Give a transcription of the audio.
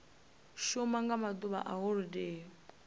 shuma nga maḓuvha a holodeni